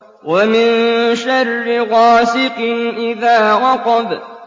وَمِن شَرِّ غَاسِقٍ إِذَا وَقَبَ